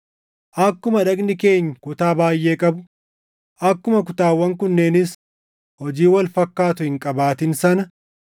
Akkuma dhagni keenya kutaa baayʼee qabu, akkuma kutaawwan kunneenis hojii wal fakkaatu hin qabaatin sana